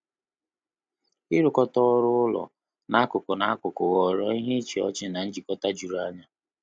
Irukata ọrụ ụlọ na akuku na akuku ghọrọ ihe ịchị ọchị na njikota jụrụ anya